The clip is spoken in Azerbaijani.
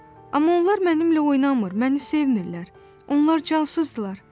Amma onlar mənimlə oynamır, məni sevmir, onlar cansızdırlar.